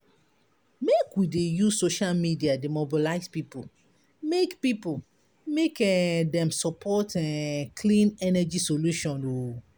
Make we dey use social media dey mobilize pipo make pipo make um dem support um clean energy solution. um